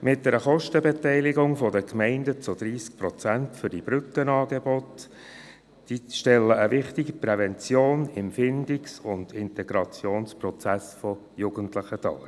Die Kostenbeteiligung der Gemeinden von 30 Prozent für diese Brückenangebote stellt eine wichtige Prävention im Findungs- und Integrationsprozess der Jugendlichen dar.